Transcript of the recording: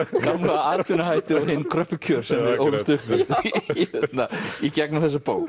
atvinnuhættir og hin kröppu kjör sem við ólumst upp með í gegnum þessa bók